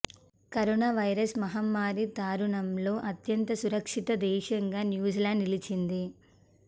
corona virus మహమ్మారి తరుణంలో అత్యంత సురక్షిత దేశంగా న్యూజిలాండ్ నిలిచింది